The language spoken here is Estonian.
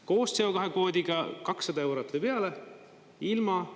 Koos CO2 kvoodiga 200 eurot või peale, ilma …